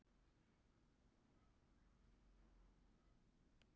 skriðjökla en þau verða helst í jöklum sem eru á tiltölulega flötu undirlagi.